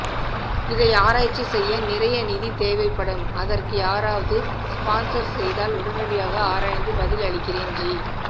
இதை ஆராய்ச்சி செய்ய நிறைய நிதி தேவைப்படும் அதற்கு யாரவது ஸ்பான்சர் செய்தால் உடனடியாக ஆராய்ந்து பதில் அளிக்கிறேன் ஜி